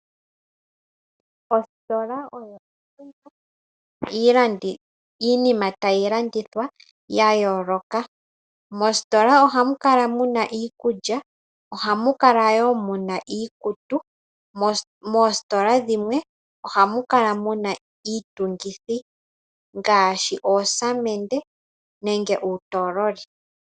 Ositola oyo ehala lina iinima tayi landithwa. Mositola ohamu kala muna iikulya ohamu kala wo muna iikutu .Moositola dhimwe ohamu kala muna iitungithi ngaashi oosamende, nenge uutololi .